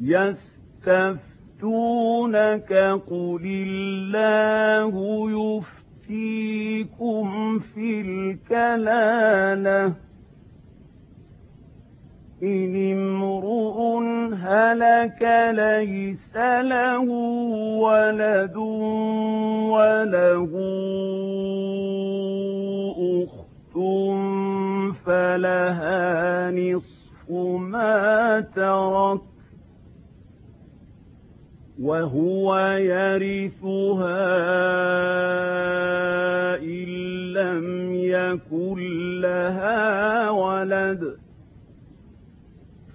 يَسْتَفْتُونَكَ قُلِ اللَّهُ يُفْتِيكُمْ فِي الْكَلَالَةِ ۚ إِنِ امْرُؤٌ هَلَكَ لَيْسَ لَهُ وَلَدٌ وَلَهُ أُخْتٌ فَلَهَا نِصْفُ مَا تَرَكَ ۚ وَهُوَ يَرِثُهَا إِن لَّمْ يَكُن لَّهَا وَلَدٌ ۚ